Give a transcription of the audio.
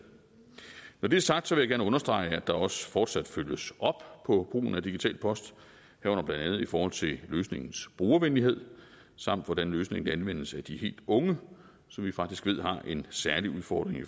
når det er sagt vil jeg gerne understrege at der også fortsat følges op på brugen af digital post herunder blandt andet i forhold til løsningens brugervenlighed samt hvordan løsningen anvendes af de helt unge som vi faktisk ved har en særlig udfordring i